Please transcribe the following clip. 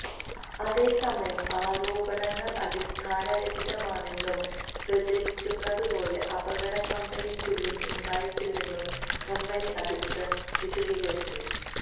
അതേസമയം ആരോപണങ്ങള് അടിസ്ഥാന രഹിതമാണെന്നും പ്രചരിക്കുന്നതു പോലെ അപകടം കമ്പനിക്കുള്ളില് ഉണ്ടായിട്ടില്ലെന്നും കമ്പനി അധികൃതര് വിശദീകരിച്ചു